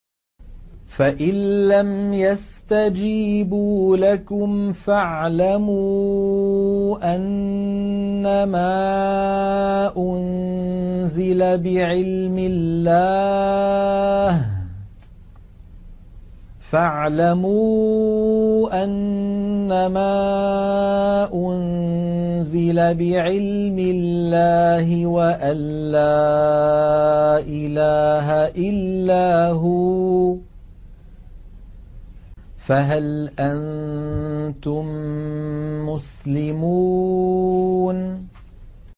فَإِلَّمْ يَسْتَجِيبُوا لَكُمْ فَاعْلَمُوا أَنَّمَا أُنزِلَ بِعِلْمِ اللَّهِ وَأَن لَّا إِلَٰهَ إِلَّا هُوَ ۖ فَهَلْ أَنتُم مُّسْلِمُونَ